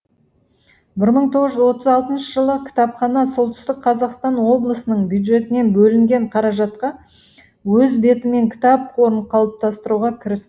бір мың тоғыз жүз отыз алтыншы жылы кітапхана солтүстік қазақстан облысының бюджетінен бөлінген қаражатқа өз бетімен кітап қорын қалыптастыруға кіріс